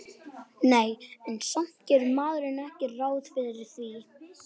Nei, en samt gerir maður ekki ráð fyrir því